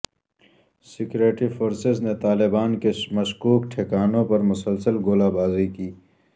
security forces نےطالبان کے مشکوک ٹھکانوں پر مسلسل گولہ باری کی